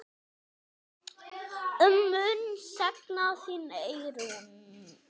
Ég mun sakna þín, Eyrún.